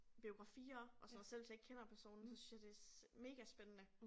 Biografier og sådan noget selv hvis jeg ikke kender personen så synes jeg det megaspændende